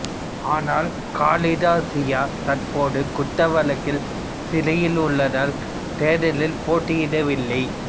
ஆனால் காலிதா சியா தற்போது குற்ற வழக்கில் சிறையில் உள்ளதால் தேர்தலில் போட்டியிடவில்லை